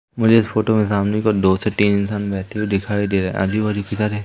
मुझे इस फोटो में सामने को दो से तीन इंसान बैठे हुए दिखाई दे रहे आजू बाजू किधर है।